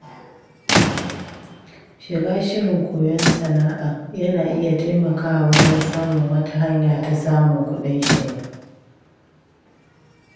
Shiga shirin koyon sana’a yana iya taimakawa wajen samun wata hanya ta samun kuɗin shiga.